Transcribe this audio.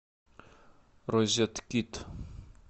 розеткид